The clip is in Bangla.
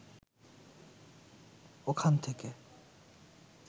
ওখান থেকে